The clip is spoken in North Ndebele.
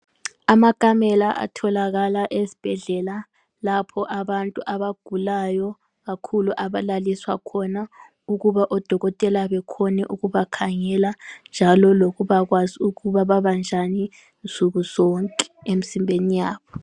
Amakamela atholakala esibhedlela lapho abantu abagulayo kakhulu abalaliswa khona ukuba odokotela bekhone ukubakhangela njalo lokubakwazi ukuba babanjani nsuku zonke emzimbeni yabo.